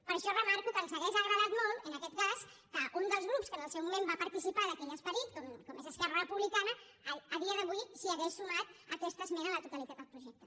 per això remarco que ens hauria agradat molt en aquest cas que un dels grups que en el seu moment va participar d’aquell esperit com és esquerra republicana a dia d’avui s’hi hagués sumat a aquesta esmena a la totalitat al projecte